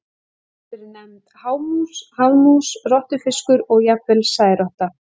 Hún hefur verið nefnd hámús, hafmús, rottufiskur og jafnvel særotta.